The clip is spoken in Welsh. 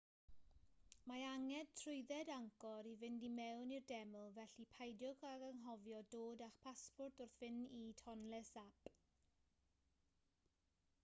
mae angen trwydded angkor i fynd i mewn i'r deml felly peidiwch ag anghofio dod â'ch pasport wrth fynd i tonle sap